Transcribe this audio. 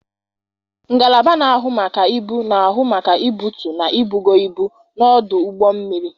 Ngalaba na-ahụ maka ibu na-ahụ maka ibutu na ibugo ibu n'ọdụ ụgbọ mmiri.